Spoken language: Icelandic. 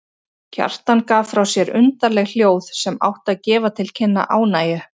Kjartan gaf frá sér undarleg hljóð sem áttu að gefa til kynna ánægju.